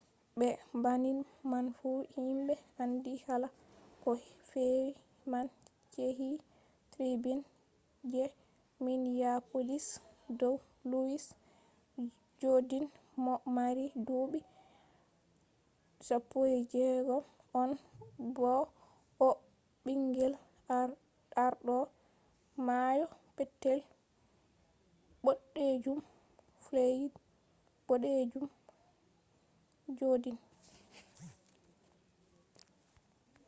be banning man fu himɓe andi haala ko fe’i man yecci tribun je minyapolis dow luwis jodin mo mari duuɓi 16 on bo o ɓingel arɗo mayo petel ɓoɗejum floyid jodin